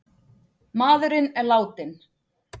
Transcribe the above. Maðurinn er látinn